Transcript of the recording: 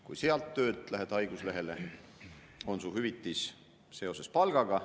Kui sealt töölt lähed haiguslehele, on su hüvitis seotud palgaga.